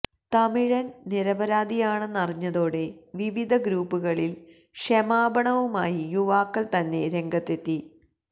തമിഴന് നിരപരാധിയാണെന്നറിഞ്ഞതോടെ വിവിധ ഗ്രൂപ്പുകളില് ക്ഷമാപണവുമായി യുവാക്കള് തന്നെ രംഗത്തെത്തി